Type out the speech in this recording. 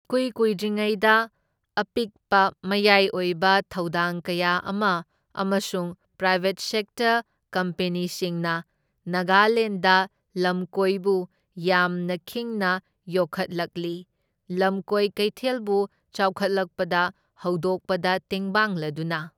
ꯏꯀꯨꯏ ꯀꯨꯏꯗ꯭ꯔꯤꯉꯩꯗ, ꯑꯄꯤꯛꯄ ꯃꯌꯥꯏ ꯑꯣꯏꯕ ꯊꯧꯗꯥꯡ ꯀꯌꯥ ꯑꯃ ꯑꯃꯁꯨꯡ ꯄ꯭ꯔꯥꯏꯕꯦꯠ ꯁꯦꯛꯇꯔ ꯀꯝꯄꯦꯅꯤꯁꯤꯡꯅ ꯅꯥꯒꯥꯂꯦꯟꯗ ꯂꯝꯀꯣꯢꯕꯨ ꯌꯥꯝꯅ ꯈꯤꯡꯅ ꯌꯣꯛꯈꯠꯂꯛꯂꯤ, ꯂꯝꯀꯣꯏ ꯀꯩꯊꯦꯜꯕꯨ ꯆꯥꯎꯈꯠꯂꯛꯄꯗ ꯍꯧꯗꯣꯛꯄꯗ ꯇꯦꯡꯕꯥꯡꯂꯗꯨꯅ꯫